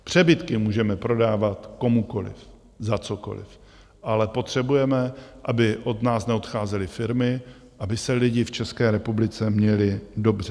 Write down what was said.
Přebytky můžeme prodávat komukoliv za cokoliv, ale potřebujeme, aby od nás neodcházely firmy, aby se lidé v České republice měli dobře.